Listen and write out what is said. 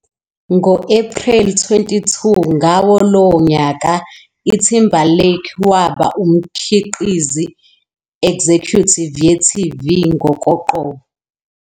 Ngo-April 22 Ngawo lowo nyaka, Timberlake waba umkhiqizi executive ye-TV ngokoqobo